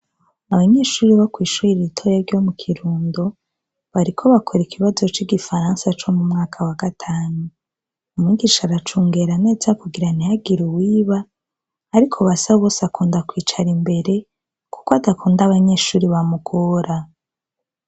Abanyeshure bo kwishure ritoya ryo mu Kirundo bariko bakora ikibazo cigifaransa co mu mwaka wa gatanu, umwigisha aracungera neza kugira ntihagire uwiba, ariko BASABOSE akunda kwicara imbere kuko adakunda abanyeshure bamugora.